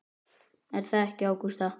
Er það ekki Ágústa?